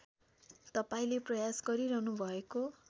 तपाईँले प्रयास गरिरहनुभएको